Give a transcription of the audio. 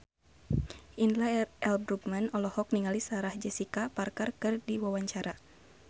Indra L. Bruggman olohok ningali Sarah Jessica Parker keur diwawancara